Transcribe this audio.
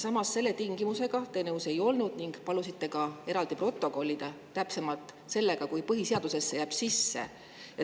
Samas te selle tingimusega nõus ei olnud, täpsemalt sellega, kui see jääb põhiseadusesse sisse, ning palusite selle ka eraldi protokollida.